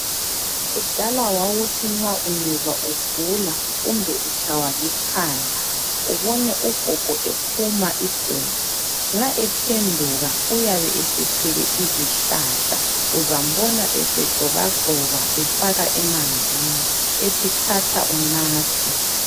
Kudala wawuthi nxa ungezwa ugula kumbe utshaywa likhanda ubone ugogo ephuma iguma ,nxa ephenduka uyabe esethwele izihlahla ,uzambona esegxobagxoba efaka emanzini ethi thatha unathe